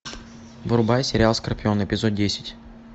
врубай сериал скорпион эпизод десять